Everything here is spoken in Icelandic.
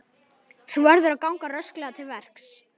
Þú verður að ganga rösklega til verks.